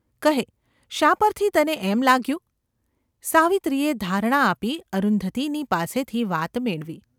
કહે, શા પરથી તને એમ લાગ્યું ?’ સાવિત્રીએ ધારણા આપી અરુંધતીની પાસેથી વાત મેળવી.